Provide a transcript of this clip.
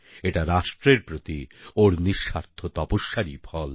এটা রাষ্ট্রের প্রতি ওর নিঃস্বার্থ তপস্যারই ফল